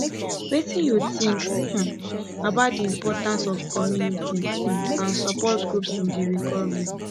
wetin you think um about di importance of community um and support groups in di recovery